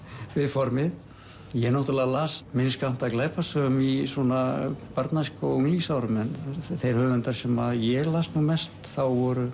formið ég náttúrulega las minn skammt af glæpasögum í barnæsku og á unglingsárum en þeir höfundar sem ég las nú mest þá voru